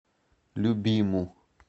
любиму